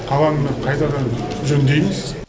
қаланы қайтадан жөндейміз